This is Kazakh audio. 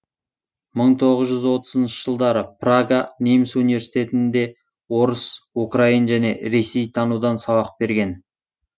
мың тоғыз жүз отызыншы жылдары прага неміс университетінде орыс украин және ресейтанудан сабақ берген